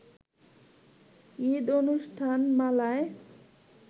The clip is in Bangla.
ঈদ অনুষ্ঠানমালায়